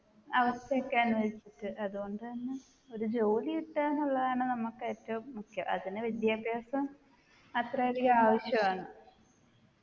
അവസ്ഥ ഒക്കെയാണെന്ന് വെച്ചിട്ട് അതുകൊണ്ട് തന്നെ ഒരു ജോലി കിട്ടാനുള്ളതാണ് നമ്മുക്ക് ഏറ്റവും മുഖ്യം അതിന് വിദ്യാഭ്യാസം അത്രയധികം ആവിശ്യമാണ്